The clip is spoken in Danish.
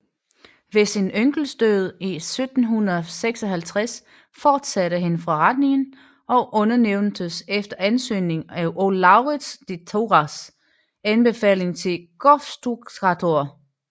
Ved sin onkels død 1756 fortsatte han forretningen og udnævntes efter ansøgning og Lauritz de Thurahs anbefaling til gofstukkatør